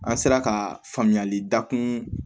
An sera ka faamuyali dakun